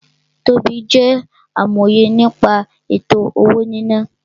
Tobí jẹ́ amòye nípa ètò-owó-níná